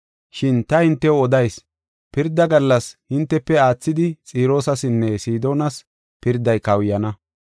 Shin ta hintew odayis; pirda gallas hintefe aathidi Xiroosasinne Sidoonas pirday kawuyana.